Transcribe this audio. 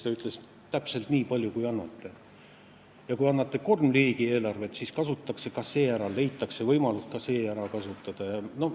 Ta ütles, et täpselt nii palju, kui annate: kui annate kolm riigieelarvet, siis leitakse võimalus ka see ära kasutada.